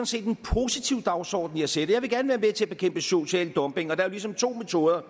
set en positiv dagsorden jeg sætter jeg vil gerne være med til at bekæmpe social dumping og der er jo ligesom to metoder